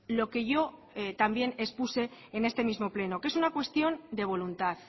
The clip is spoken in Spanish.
lo que yo también expuse en este mismo pleno que es una cuestión de voluntad